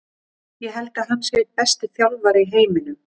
Ég held að hann sé einn besti þjálfari í heiminum.